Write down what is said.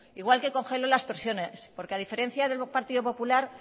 igual que congeló las pensiones porque a diferencia del partido popular